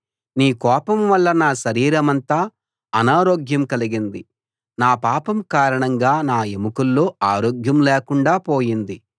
నీ కోపం వల్ల నా శరీరమంతా అనారోగ్యం కలిగింది నా పాపం కారణంగా నా ఎముకల్లో ఆరోగ్యం లేకుండా పోయింది